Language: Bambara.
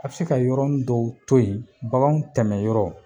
A bi se ka yɔrɔ n dɔw to yen baganw tɛmɛyɔrɔ